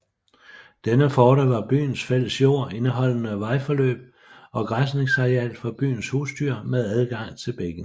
Denne forte var byens fælles jord indeholdende vejforløb og græsningsareal for byens husdyr med adgang til bækken